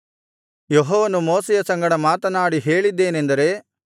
ಯೆಹೋವನು ಮೋಶೆಯ ಸಂಗಡ ಮಾತನಾಡಿ ಹೇಳಿದ್ದೇನೆಂದರೆ